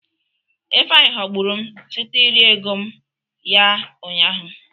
Ifeanyi ghọgburu m site iri ego mụ ya ụnyaahụ.